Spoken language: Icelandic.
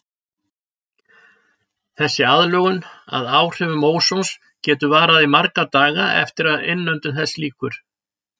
Þessi aðlögun að áhrifum ósons getur varað í marga daga eftir að innöndun þess lýkur.